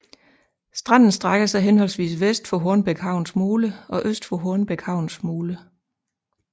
Stranden strækker sig henholdvis vest for Hornbæk Havns mole og øst for Hornbæk Havns mole